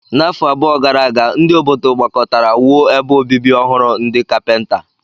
N'afọ abụọ gara aga, ndị obodo gbakọtara wuo ebe obibi ọhụrụ ndị ekpenta.